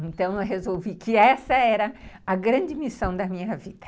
Então eu resolvi que essa era a grande missão da minha vida.